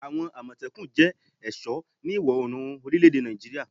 Awon Amotekun jẹ́ ẹ̀sọ́ ní ìwọ̀-orùn orile èdè Nàìjíríà